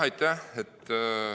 Aitäh!